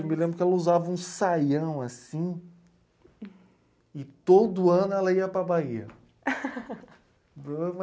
Eu me lembro que ela usava um saião assim e todo ano ela ia para a Bahia.